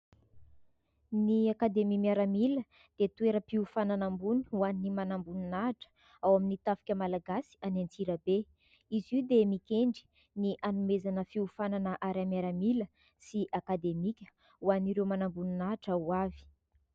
Ny Akademia Miaramila dia dia toeram-piofanana ambony ho an'ny manamboninahitra ao amin'ny tafika malagasy any Antsirabe. Izy io dia mikendry ny hanomezana fiofanana ara-miaramila sy akademika ho an'ireo manamboninahitra ho avy.